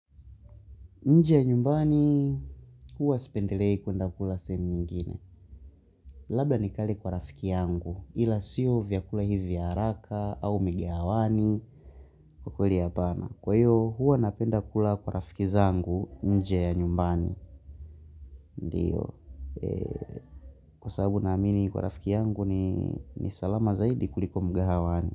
Nje ya nyumbani, huwa sipendelei kuend kula sehemu nyingine. Labda nikale kwa rafiki yangu, ila sio vyakula hivi vya haraka au mgahawani kwa kweli hapana. Kwa hiyo, huwanapenda kula kwa rafiki zangu nje ya nyumbani, ndio. Kwasababu naamini kwa rafiki yangu ni salama zaidi kuliko mgahawani.